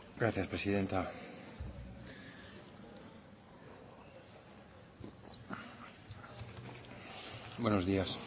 gracias presidenta buenos días